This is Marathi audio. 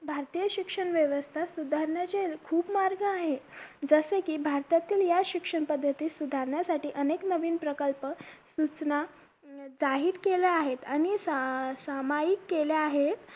भारतीय शिक्षण व्यवस्था सुधारण्याचे खूप मार्ग आहे जसे कि भारतातील ह्या शिक्षण पद्धती सुधारण्यासाठी अनेक नवीन प्रकल्प सूचना जाहीर केल्या आहेत आणि सा सामायिक केल्या आहेत